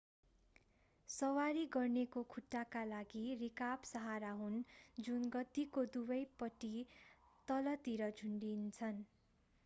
सवारी गर्नेको खुट्टाका लागि रिकाब सहारा हुन् जुन गद्दीको दुवै पट्टि तलतिर झुन्डिन्छन्